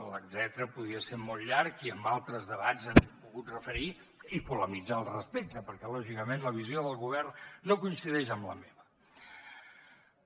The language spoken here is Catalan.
l’etcètera podria ser molt llarg i en altres debats ens hi hem pogut referir i polemitzar al respecte perquè lògicament la visió del govern no coincideix amb la meva